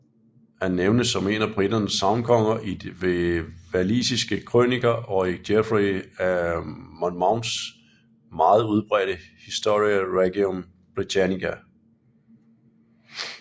Han nævnes som en af briternes sagnkonger i walisiske krøniker og i Geoffrey af Monmouths meget udbredte Historia Regum Britanniae